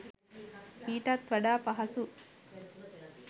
ඊටත් වඩා පහසු